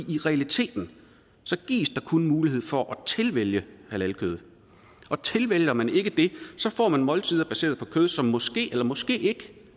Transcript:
i realiteten gives der kun mulighed for at tilvælge halalkød og tilvælger man ikke det så får man måltider baseret på kød som måske eller måske ikke